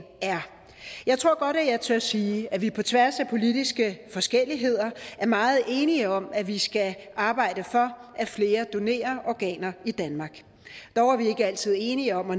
er jeg tror godt jeg tør sige at vi på tværs af politiske forskelligheder er meget enige om at vi skal arbejde for at flere donerer organer i danmark dog er vi ikke altid enige om